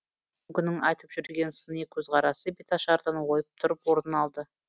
бүгінгінің айтып жүрген сыни көзқарасы беташардан ойып тұрып орнын алды